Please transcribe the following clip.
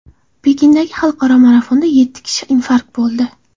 Pekindagi xalqaro marafonda yetti kishi infarkt bo‘ldi.